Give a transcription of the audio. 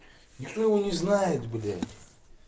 никто его не знает блядь